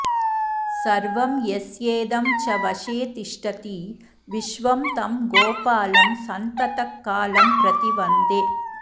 सर्वं यस्येदं च वशे तिष्ठति विश्वं तं गोपालं सन्ततकालं प्रति वन्दे